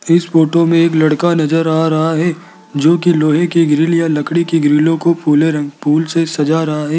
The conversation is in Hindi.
इस फोटो में एक लड़का नजर आ रहा है जोकि लोहे की ग्रिल या लकड़ी की ग्रिलों को फूले रंग फूल से सजा रहा है।